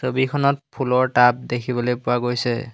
ছবিখনত ফুুলৰ টাব দেখিবলৈ পোৱা গৈছে।